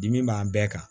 Dimi b'an bɛɛ kan